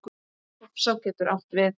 Hofsá getur átt við